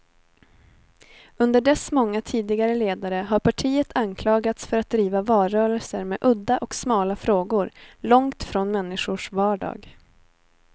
Under dess många tidigare ledare har partiet anklagats för att driva valrörelser med udda och smala frågor, långt från människors vardag.